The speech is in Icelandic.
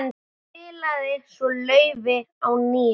Spilaði svo laufi á NÍUNA.